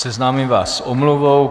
Seznámím vás s omluvou.